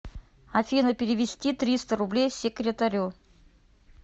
афина перевести триста рублей секретарю